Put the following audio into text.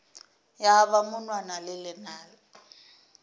ya ba monwana le lenala